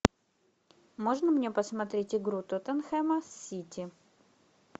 можно мне посмотреть игру тоттенхэма с сити